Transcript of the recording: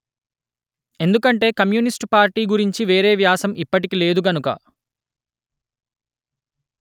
ఎందుకంటే communist party గురించి వేరే వ్యాసం ఇప్పటికి లేదు గనుక